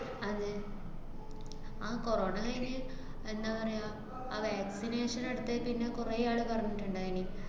അതെ, ആഹ് corona കയിഞ്ഞ് എന്താ പറയാ, ആഹ് vaccination എടുത്തയിപ്പിന്നെ കുറേയാള് പറഞ്ഞിട്ട്ണ്ടായീന്.